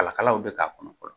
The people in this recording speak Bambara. Kala kalaw bɛ k'a kɔnɔ